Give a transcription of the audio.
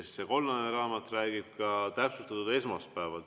See kollane raamat räägib täpsustatult ka esmaspäevast.